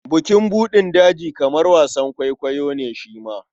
Bukin buɗin daji kamar wasan kwaikwayo ne shi ma.